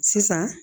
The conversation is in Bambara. Sisan